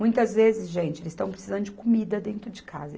Muitas vezes, gente, eles estão precisando de comida dentro de casa.